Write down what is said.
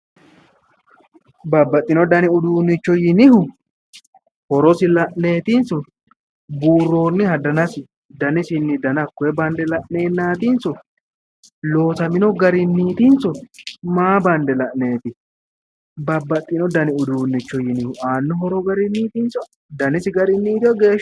Babbaxino dani uduunicho yinnihu horosi la'netinso buuroniha dannisini hakkoe danna bande la'nennatinso loosamino garinitiso, maa bande la'neti babbaxino danni uduunicho yinnihu aano horo garinitinso dannisi garinotinao, geeshshisiniti.